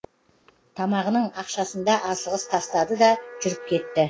тамағының ақшасында асығыс тастады да жүріп кетті